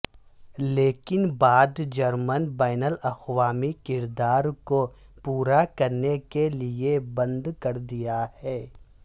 لیکن بعد جرمن بین الاقوامی کردار کو پورا کرنے کے لئے بند کر دیا ہے